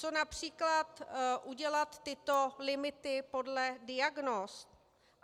Co například udělat tyto limity podle diagnóz?